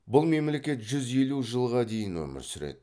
бұл мемлекет жүз елу жылға дейін өмір сүреді